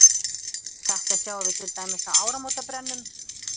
Þetta sjáum við til dæmis á áramótabrennum.